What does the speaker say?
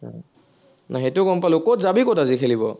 নাই সেইটো গম পালো, কত যাবি কত আজি খেলিব?